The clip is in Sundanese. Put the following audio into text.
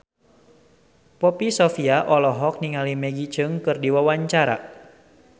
Poppy Sovia olohok ningali Maggie Cheung keur diwawancara